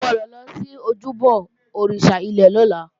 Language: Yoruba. O gbọ́dọ̀ lọ sí ojúbọ òrìṣà ilẹ̀ lọ́la!